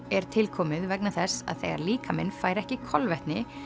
er tilkomið vegna þess að þegar líkaminn fær ekki kolvetni